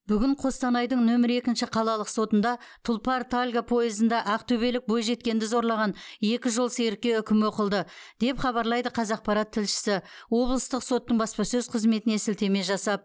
бүгін қостанайдың нөмірі екінші қалалық сотында тұлпар тальго пойызында ақтөбелік бойжеткенді зорлаған екі жолсерікке үкім оқылды деп хабарлайды қазақпарат тілшісі облыстық соттың баспасөз қызметіне сілтеме жасап